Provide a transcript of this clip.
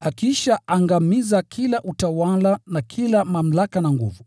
akiisha angamiza kila utawala na kila mamlaka na nguvu.